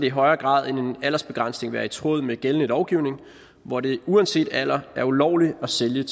i højere grad end en aldersbegrænsning være i tråd med gældende lovgivning hvor det uanset alder er ulovligt at sælge